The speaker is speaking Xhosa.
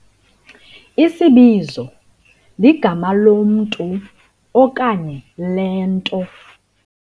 Isibizo ligama lomntu okanye lento.